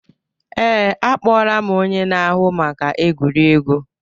Ee, akpọla m onye na-ahụ maka egwuregwu